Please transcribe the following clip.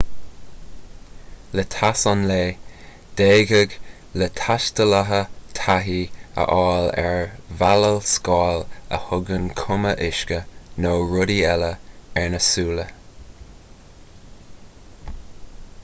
le teas an lae d'fhéadfadh le taistealaithe taithí a fháil ar mheabhalscáil a thugann cuma uisce nó rudaí eile ar na súile